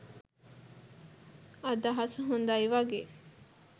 අදහස හොඳයි වගේ